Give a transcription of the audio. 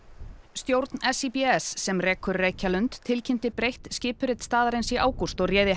stjórn SÍBS sem rekur Reykjalund tilkynnti breytt skipurit staðarins í ágúst og réði